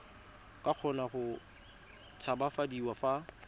ka kgona go tshabafadiwa fa